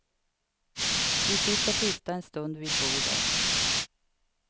Vi sitter tysta en stund vid bordet.